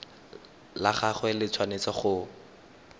la gagwe le tshwanetse go